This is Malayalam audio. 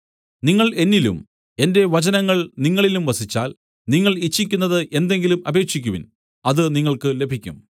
നിങ്ങൾ എന്നിലും എന്റെ വചനങ്ങൾ നിങ്ങളിലും വസിച്ചാൽ നിങ്ങൾ ഇച്ഛിക്കുന്നത് എന്തെങ്കിലും അപേക്ഷിക്കുവിൻ അത് നിങ്ങൾക്ക് ലഭിക്കും